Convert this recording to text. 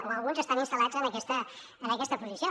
o alguns estan instal·lats en aquesta posició